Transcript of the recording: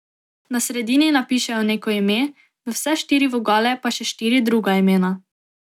Na sredini napišejo neko ime, v vse štiri vogale pa še štiri druga imena.